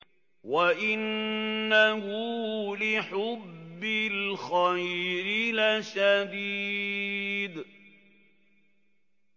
وَإِنَّهُ لِحُبِّ الْخَيْرِ لَشَدِيدٌ